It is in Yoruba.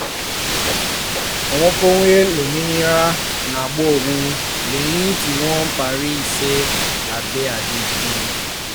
òǹkọ̀wé lómìnira ń gba owó lẹ́yìn tí wọ́n parí iṣẹ́ labẹ́ àdéhùn